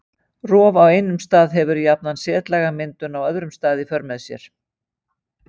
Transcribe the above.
Rof á einum stað hefur jafnan setlagamyndun á öðrum stað í för með sér.